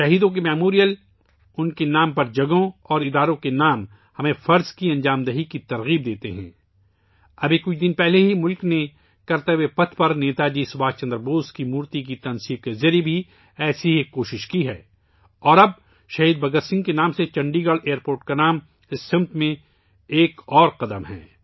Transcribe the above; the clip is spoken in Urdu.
شہیدوں کی یادگاریں، جگہوں کے نام اور ان کے نام سے منسوب ادارے ہمیں فرائض کے لئے تحریک دیتے ہیں، ابھی کچھ دن پہلے ہی ملک نے کرتوویہ پَتھ پر نیتا جی سبھاش چندر بوس کا مجسمہ نصب کرکے ایسی ہی ایک کوشش کی ہے اور اب شہید بھگت سنگھ کے نام سے چنڈی گڑھ ہوائی اڈے کا نام اس سمت میں ایک اور قدم ہے